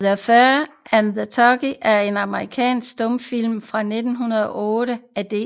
The Feud and the Turkey er en amerikansk stumfilm fra 1908 af D